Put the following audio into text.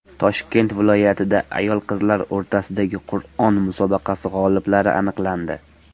Toshkent viloyatida ayol-qizlar o‘rtasidagi Qur’on musobaqasi g‘oliblari aniqlandi.